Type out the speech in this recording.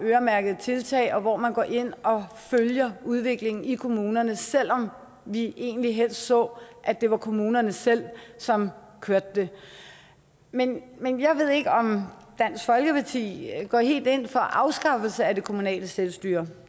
øremærkede tiltag er hvor man går ind og følger udviklingen i kommunerne selv om vi egentlig helst så at det var kommunerne selv som kørte det men men jeg ved ikke om dansk folkeparti går helt ind for en afskaffelse af det kommunale selvstyre